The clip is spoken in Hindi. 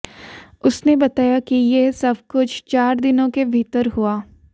उसने बताया कि यह सब कुछ चार दिनों के भीतर हुआ